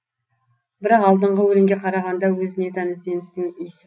бірақ алдыңғы өлеңге қарағанда өзіне тән ізденістің ис